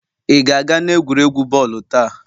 Ị ga-aga n'egwuregwu bọọlụ taa?